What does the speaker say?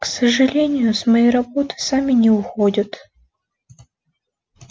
к сожалению с моей работы сами не уходят